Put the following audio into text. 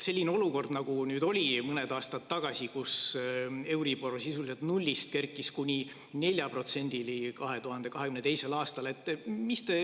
Mõned aastad tagasi oli olukord, kus euribor sisuliselt 0‑st kerkis kuni 4%‑ni, see oli 2022. aastal.